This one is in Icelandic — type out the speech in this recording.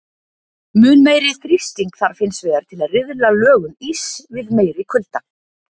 Mun meiri þrýsting þarf hins vegar til að riðla lögun íss við meiri kulda.